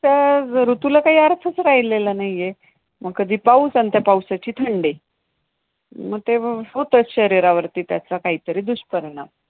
त्या ऋतूला काही अर्थच राहिलेला नाहीये. मग कधी पाऊस अन् त्या पावसाची थंडी, मग ते होतंच शरीरावरती त्याचा काहीतरी दुष्परिणाम